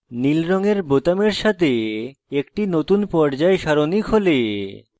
নীল রঙের বোতামের সাথে একটি নতুন পর্যায় সারণী খোলে